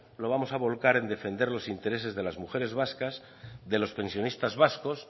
lo vamos a volcar en defender los intereses de las mujeres vascas de los pensionistas vascos